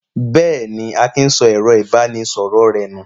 Bẹ́ẹ̀ ni, Akin sọ ẹ̀rọ-ìbánisọ̀rọ̀ rẹ̀ nù.